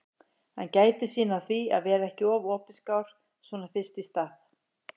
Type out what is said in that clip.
Hann gætir sín á því að vera ekki of opinskár svona fyrst í stað.